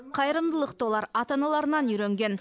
қайырымдылықты олар ата аналарынан үйренген